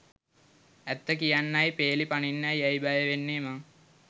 ඇත්ත කියන්නයි පේලි පනින්නයි ඇයි බය වෙන්නේ මං?